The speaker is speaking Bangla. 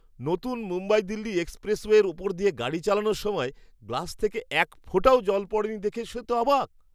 নতুন মুম্বই দিল্লি এক্সপ্রেসওয়ের ওপর দিয়ে গাড়ি চালানোর সময়, গ্লাস থেকে এক ফোঁটাও জল পড়েনি দেখে সে তো অবাক!